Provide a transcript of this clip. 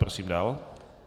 Prosím dál.